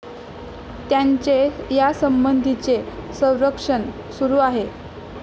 त्यांचे यासंबंधीचे सर्वेक्षण सुरू आहे.